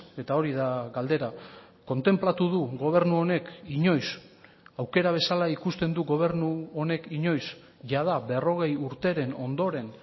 eta hori da galdera kontenplatu du gobernu honek inoiz aukera bezala ikusten du gobernu honek inoiz jada berrogei urteren ondoren